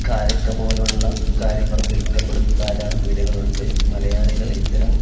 കാരക്ക പോലുള്ള കാര്യങ്ങളും വിൽക്കപ്പെടുന്ന ധാരാളം പീടികകൾ ഉണ്ട് മലയാളികൾ ഇത്തരം--